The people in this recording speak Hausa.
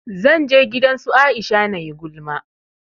Zan je gidan su Aisha nayi gulma